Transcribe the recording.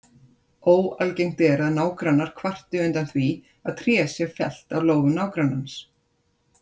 Óalgengt er að nágrannar kvarti undan því að tré sé fellt á lóð nágrannans.